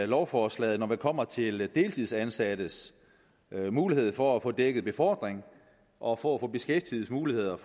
lovforslaget når vi kommer til deltidsansattes mulighed for at få dækket befordring og for at få beskæftigelsesmuligheder